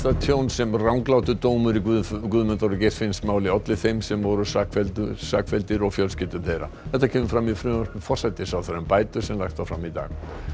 tjón sem ranglátur dómur í Guðmundar Guðmundar og Geirfinnsmáli olli þeim sem voru sakfelldir sakfelldir og fjölskyldum þeirra þetta kemur fram í frumvarpi forsætisráðherra um bætur sem lagt var fram í dag